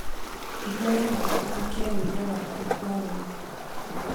ihura na uhonokie rwĩmbo rwa kuĩgwa wendo